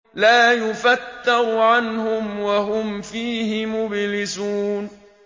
لَا يُفَتَّرُ عَنْهُمْ وَهُمْ فِيهِ مُبْلِسُونَ